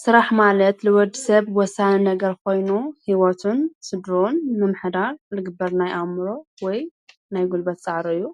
ስራሕ ማለት ልወዲ ሰብ ወሳኒ ነገር ኾይኑ ህይወቱን ስድርኡን መምሕዳር ልግበር ናይ ኣእምሮ ወይ ናይ ጕልበት ፃዕሪ እዩ፡፡